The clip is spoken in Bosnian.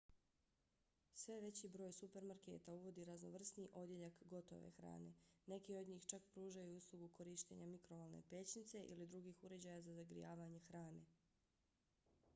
sve veći broj supermarketa uvodi raznovrsniji odjeljak gotove hrane. neki od njih čak pružaju i uslugu korištenja mikrovalne pećnice ili drugih uređaja za zagrijavanje hrane